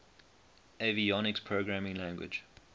avionics programming language